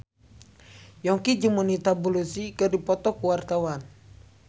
Yongki jeung Monica Belluci keur dipoto ku wartawan